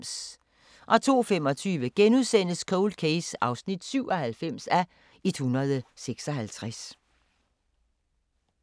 02:25: Cold Case (97:156)*